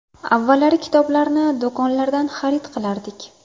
Avvallari kitoblarni do‘konlardan xarid qilardik.